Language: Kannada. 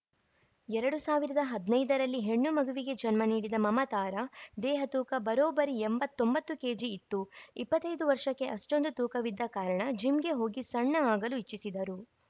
ಎರಡು ಸಾವಿರದ ಹದಿನೈದು ರಲ್ಲಿ ಹೆಣ್ಣು ಮಗುವಿಗೆ ಜನ್ಮ ನೀಡಿದ ಮಮತಾರ ದೇಹ ತೂಕ ಬರೋಬ್ಬರಿ ಎಂಬತ್ತ್ ಒಂಬತ್ತು ಕೆಜಿ ಇತ್ತು ಇಪ್ಪತ್ತೆದು ವರ್ಷಕ್ಕೆ ಅಷ್ಟೊಂದು ತೂಕವಿದ್ದ ಕಾರಣ ಜಿಮ್‌ಗೆ ಹೋಗಿ ಸಣ್ಣ ಆಗಲು ಇಚ್ಛಿಸಿದರು